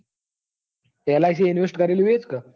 Lic invest કત્રેલું એજ ને.